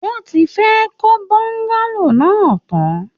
Wọ́n ti fẹ́ẹ̀ kọ́ Bọ́ńgálò náà tán